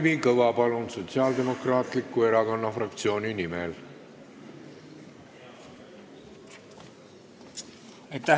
Palun, Kalvi Kõva Sotsiaaldemokraatliku Erakonna fraktsiooni nimel!